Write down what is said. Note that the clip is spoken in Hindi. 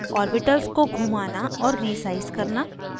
ऑर्बिटल्स को घुमाना और resize करना